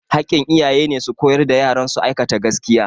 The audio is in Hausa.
Hakkin iyaye ne su koyar da yaran su aikata gaskiya